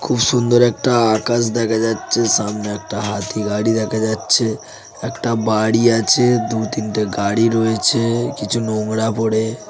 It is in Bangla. খুব সুন্দর একটা আকাশ দেখা যাচ্ছে সামনে একটা হাতি গাড়ি দেখা যাচ্ছে একটা বাড়ি আছে দু তিনটে গাড়ি রয়েছে কিছু নোংরা পড়ে --